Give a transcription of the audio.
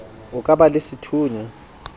o ka ba le sethunya